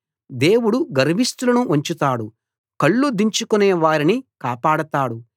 దేవుడు గర్విష్టులను వంచుతాడు కళ్ళు దించుకునే వారిని కాపాడతాడు